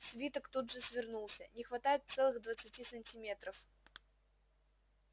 свиток тут же свернулся не хватает целых двадцати сантиметров